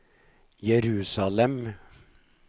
Jerusalem